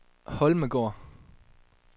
Holmegaard